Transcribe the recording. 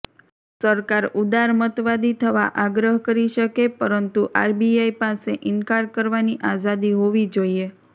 સરકાર ઉદારમતવાદી થવા આગ્રહ કરી શકે પરંતુ આરબીઆઈ પાસે ઈનકાર કરવાની આઝાદી હોવી જોઈએ